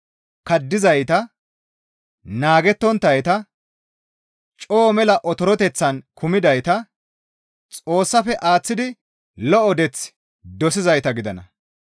kaddizayta, naagettonttayta, coo mela otoreteththan kumidayta, Xoossafe aaththidi lo7o deeth dosizayta gidana.